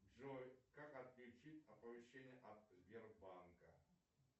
джой как отключить оповещения от сбербанка